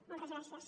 moltes gràcies